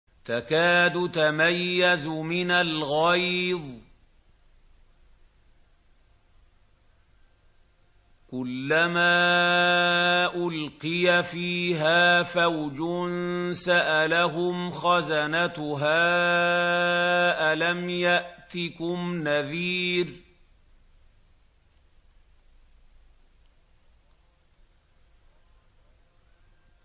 تَكَادُ تَمَيَّزُ مِنَ الْغَيْظِ ۖ كُلَّمَا أُلْقِيَ فِيهَا فَوْجٌ سَأَلَهُمْ خَزَنَتُهَا أَلَمْ يَأْتِكُمْ نَذِيرٌ